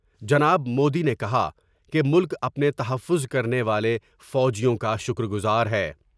جناب مودی نے کہا کہ ملک اپنے تحفظ کرنے والے فوجیوں کا شکرگزار ہے ۔